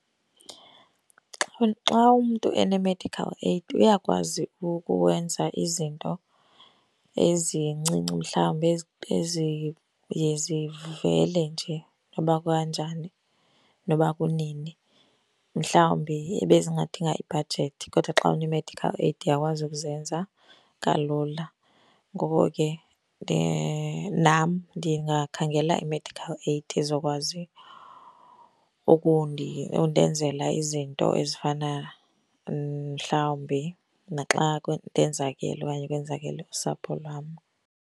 Xa xa umntu ene-medical aid uyakwazi ukwenza izinto ezincinci, mhlawumbe eziye zivele nje noba kukanjani, noba kunini. Mhlawumbi ebezingadinga ibhajethi kodwa xa une-medical aid uyakwazi ukuzenza kalula. Ngoko ke nam ndingakhangela i-medical aid ezokwazi undenzela izinto ezifana mhlawumbi naxa ndenzakele okanye kwenzakele usapho lwam.